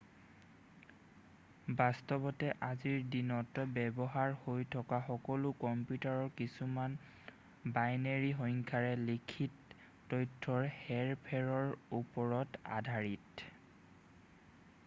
বাস্তৱতে আজিৰ দিনত ব্যৱহাৰ হৈ থকা সকলো কম্পিউটাৰ কিছুমান বাইনেৰী সংখ্যাৰে লিখিত তথ্যৰ হেৰ-ফেৰৰ ওপৰত আধাৰিত